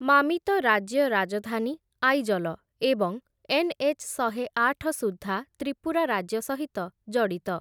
ମାମିତ ରାଜ୍ୟ ରାଜଧାନୀ ଆଇଜଲ ଏବଂ ଏନ୍‌.ଏଚ୍‌. ଶହେଆଠ ସୁଦ୍ଧା ତ୍ରିପୁରା ରାଜ୍ୟ ସହିତ ଜଡ଼ିତ ।